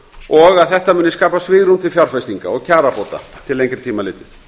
og að þetta muni skapa svigrúm til fjárfestinga og kjarabóta til lengri tíma litið